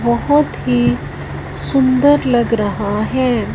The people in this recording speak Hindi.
बहोत ही सुंदर लग रहा है।